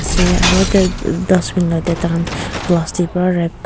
se aro de dustbin la tey taikhan plastic pra wrap ku--